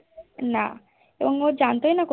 না এবং ও জানতোই না